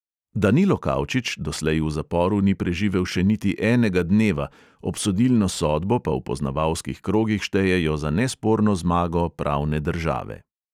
Danilo kavčič doslej v zaporu ni preživel še niti enega dneva, obsodilno sodbo pa v poznavalskih krogih štejejo za nesporno zmago pravne države.